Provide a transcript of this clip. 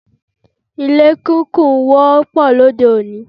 Ilé kíkùn wọ́pọ̀ lóde òní.